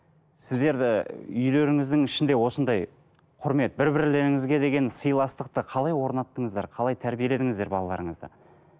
сіздерді үйлеріңіздің ішінде осындай құрмет бір бірлеріңізге деген сыйластықты қалай орнаттыңыздар қалай тәрбиеледіңіздер балаларыңызды